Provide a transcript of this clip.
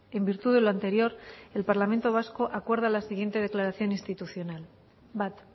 en virtud de lo anterior el parlamento vasco acuerda la siguiente declaración institucional bat